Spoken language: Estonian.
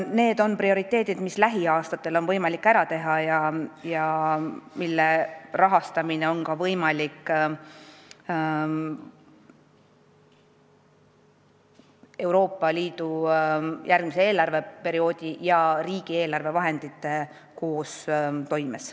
Need on prioriteetsed tööd, mis lähiaastatel on võimalik ära teha ja mille rahastamine on Euroopa Liidu järgmise eelarveperioodi ja riigieelarve raha koos kasutades võimalik.